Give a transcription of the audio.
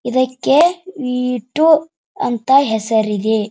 ಇದಕ್ಕೆ V two ಅಂತ ಹೆಸರಿದೆ.